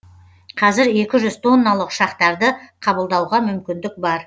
қазір екі жүз тонналық ұшақтарды қабылдауға мүмкіндік бар